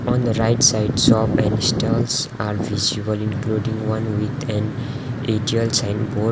on the right side shop and stalls are visible including one with an atiel sign board.